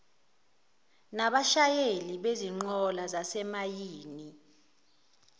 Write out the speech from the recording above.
nabashayeli bezinqola zasemayini